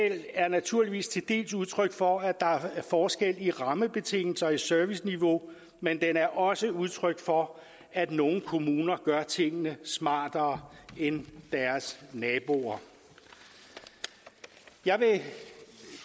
er naturligvis til dels udtryk for at der er forskel i rammebetingelser for serviceniveau men den er også udtryk for at nogle kommuner gør tingene smartere end deres naboer jeg vil